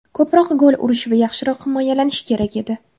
Ko‘proq gol urish va yaxshiroq himoyalanish kerak edi.